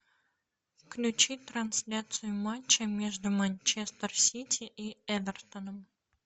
включи трансляцию матча между манчестер сити и эвертоном